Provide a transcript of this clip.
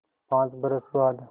पाँच बरस बाद